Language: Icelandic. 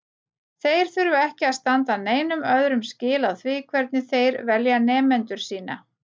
Þeir þurfa ekki að standa neinum öðrum skil á því hvernig þeir velja nemendur sína.